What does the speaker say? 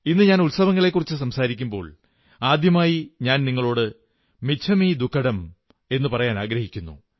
ഇന്നു ഞാൻ ഉത്സവങ്ങളെക്കുറിച്ചു സംസാരിക്കുമ്പോൾ ആദ്യമായി ഞാൻ നിങ്ങളോട് മിച്ഛമി ദുക്കഡം പറയാനാഗ്രഹിക്കുന്നു